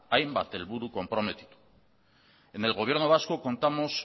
hainbat helburu konprometitu en el propio gobierno vasco contamos